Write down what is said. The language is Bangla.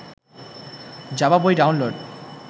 জাভা বই ডাউনলোড